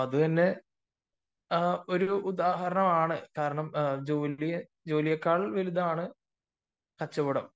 അപ്പൊ അതുതന്നെ ഒരുദാഹരണമാണ് കാരണം ജോലിയെക്കാൾ വലുതാണ് കച്ചവടം